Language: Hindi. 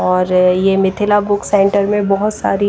और ये मिथिला बुक सेंटर में बहोत सारी--